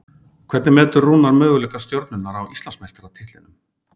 Hvernig metur Rúnar möguleika Stjörnunnar á Íslandsmeistaratitlinum?